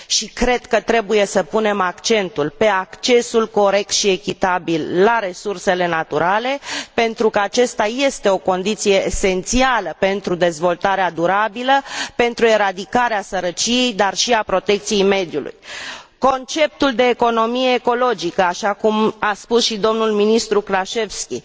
Și cred că trebuie să punem accentul pe accesul corect și echitabil la resursele naturale pentru că acesta este o condiție esențială pentru dezvoltarea durabilă, pentru eradicarea sărăciei dar și a protecției mediului. Conceptul de economie ecologică, așa cum a spus și domnul ministru Krashevski,